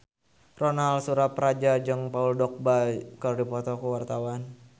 Ronal Surapradja jeung Paul Dogba keur dipoto ku wartawan